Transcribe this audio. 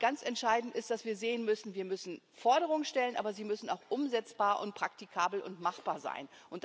Ich denke mal, ganz entscheidend ist, dass wir sehen Wir müssen Forderungen stellen, aber sie müssen auch umsetzbar und praktikabel und machbar sein.